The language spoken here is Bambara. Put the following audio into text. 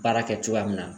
Baara kɛ cogoya min na